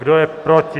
Kdo je proti?